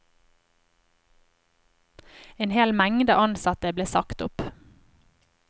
En hel mengde ansatte ble sagt opp.